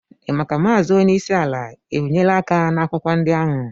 Ị mà kà Maazị onyeisi ala é bịnyere aka na akwụkwọ ndị ahụ?